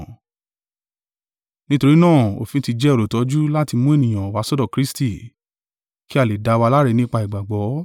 Nítorí náà òfin ti jẹ́ olùtọ́jú láti mú ènìyàn wá sọ́dọ̀ Kristi, kí a lè dá wa láre nípa ìgbàgbọ́.